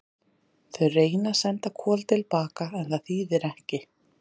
Þau reyna að senda Kol til baka en það þýðir ekki.